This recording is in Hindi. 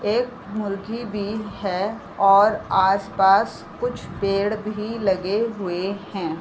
एक मुर्गी भी है और आस-पास कुछ पेड़ भी लगे हुए हैं।